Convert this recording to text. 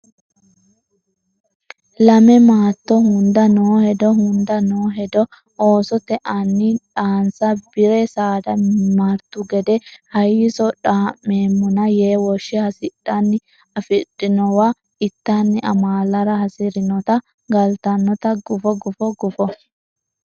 Lame maatto hunda noo hedo hunda noo hedo Oosote anni dhaansa Bi re saada martu gede hayisso dhaa meemmona yee woshshe hasidhanni afidhuwa ittanni amaalara hasi rinota galtannota gufo gufo gufo.